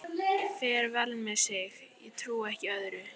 Fer vel með sig, ég trúi ekki öðru.